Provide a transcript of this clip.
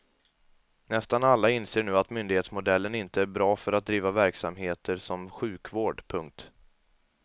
Nästan alla inser nu att myndighetsmodellen inte är bra för att driva verksamheter som sjukvård. punkt